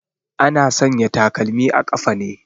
Ana sanya takalmi a ƙafa ne